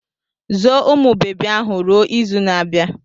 Zoo umụ bebi ahụ ruo izu na-abịa!